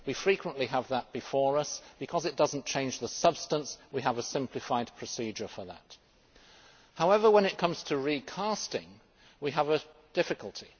We frequently have that before us and, because it does not change the substance, we have a simplified procedure for that. However, when it comes to recasting, we have a difficulty.